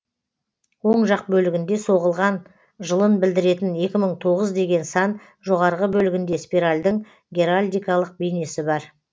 оң жақ бөлігінде соғылған жылын білдіретін екі мың тоғыз деген сан жоғарғы бөлігінде спиральдың геральдикалық бейнесі бар